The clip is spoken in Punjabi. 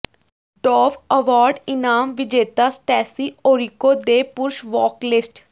ਡੋਵ ਅਵਾਰਡ ਇਨਾਮ ਵਿਜੇਤਾ ਸਟੈਸੀ ਓਰਿਕੋ ਦੇ ਪੁਰਸ਼ ਵੋਕਲਿਸਟ